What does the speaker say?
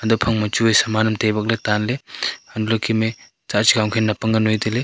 taphang ma chu wai saman am tai bak le tan le antoh le Kem e tsah nap ang wai taile.